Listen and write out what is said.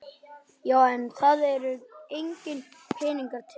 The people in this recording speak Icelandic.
Já en það eru engir peningar til.